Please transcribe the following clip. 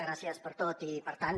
gràcies per tot i per tant